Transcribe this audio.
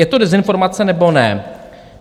Je to dezinformace, nebo ne?